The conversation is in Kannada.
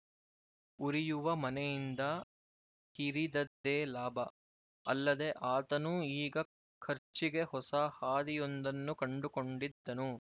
ಉರಿಯುವ ಮನೆಯಿಂದ ಕಿರಿದದ್ದೇ ಲಾಭ ಅಲ್ಲದೆ ಆತನೂ ಈಗ ಖರ್ಚಿಗೆ ಹೊಸ ಹಾದಿಯೊಂದನ್ನು ಕಂಡುಕೊಂಡಿದ್ದನು